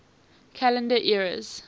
calendar eras